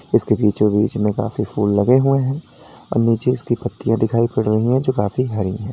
इसके बीचों बीच में काफी फूल लगे हुए हैं और नीचे इसकी पत्तियां दिखाई पड़ रही है जो काफी हरी हैं।